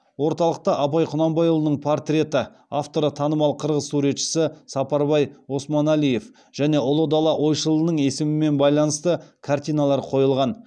орталықта абай құнанбайұлының портреті және ұлы дала ойшылының есімімен байланысты картиналар қойылған